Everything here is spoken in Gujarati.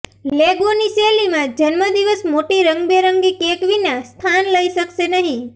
લેગોની શૈલીમાં જન્મદિવસ મોટી રંગબેરંગી કેક વિના સ્થાન લઈ શકશે નહીં